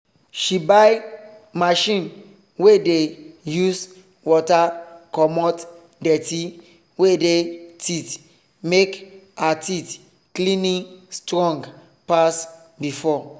she buy machine wey dey use water comot dirty wey dey teeth make her teeth cleaning strong pass before